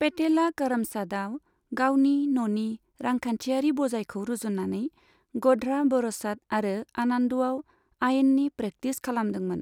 Patella करमसादआव गावनि न'नि रांखान्थिआरि बजायखौ रुजुननानै ग'ध्रा, ब'रसाद आरो आनन्दआव आयेननि प्रेकटिस खालामदोंमोन।